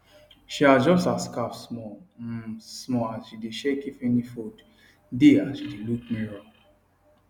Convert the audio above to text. she adjust her scarf small um small as she dae check if any fold dae as she dae look mirror